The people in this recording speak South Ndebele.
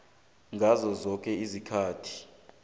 ngaso soke isikhathi